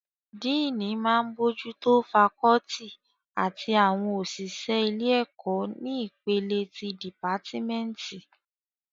Díìnì máa n bójú tó fakọ́ọ́tì àti àwọn òṣìṣẹ́ ilé-ẹ̀kọ́ ní ìpele ti dìpátímẹ́ǹtì